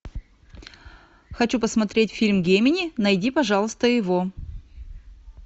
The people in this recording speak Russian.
хочу посмотреть фильм гемини найди пожалуйста его